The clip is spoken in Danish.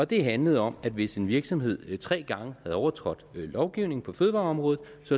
det handlede om at hvis en virksomhed tre gange havde overtrådt lovgivningen på fødevareområdet